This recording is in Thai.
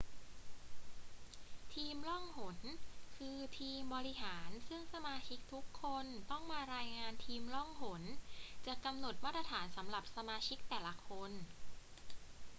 ทีมล่องหน คือทีมบริหารซึ่งสมาชิกทุกคนต้องมารายงาน ทีมล่องหนจะกำหนดมาตรฐานสำหรับสมาชิกแต่ละคน